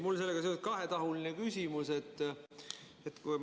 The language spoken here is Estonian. Mul on sellega seoses kahetahuline küsimus.